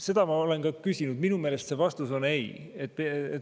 Seda ma olen ka küsinud, minu meelest see vastus on ei.